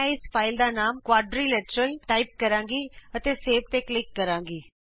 ਮੈਂ ਇਸ ਫਾਈਲ ਦਾ ਨਾਮ ਕੁਆਡਰੀਲੇਟਰਲ ਟਾਈਪ ਕਰਾਂਗੀ ਅਤੇ ਸੇਵ ਤੇ ਕਲਿਕ ਕਰਾਂਗੀ